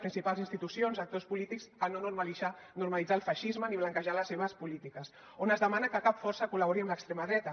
bpals institucions i actors polítics a no normalitzar el feixisme ni blanquejar les seves polítiques on es demana que cap força col·labori amb l’extrema dreta